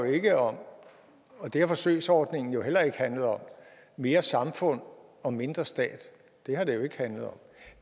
jo ikke om og det har forsøgsordningen heller ikke handlet om mere samfund og mindre stat det har det jo ikke handlet om